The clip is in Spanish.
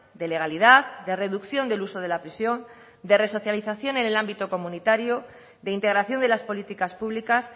de legalidad de reducción del uso de la prisión de resocialización en el ámbito comunitario de integración de las políticas públicas